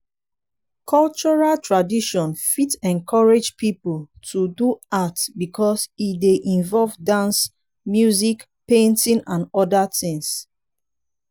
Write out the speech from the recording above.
cultural tradition fit encourage pipo to do art because e dey involve dance music painting and oda things